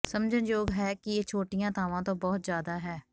ਸਮਝਣ ਯੋਗ ਹੈ ਕਿ ਇਹ ਛੋਟੀਆਂ ਥਾਂਵਾਂ ਤੋਂ ਬਹੁਤ ਜ਼ਿਆਦਾ ਹੈ